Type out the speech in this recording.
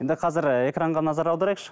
енді қазір ііі экранға назар аударайықшы